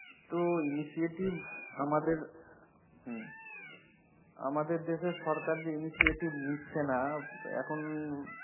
তো initiative আমাদের আমাদের দেশের সরকার যে initiative নিচ্ছে না এখন,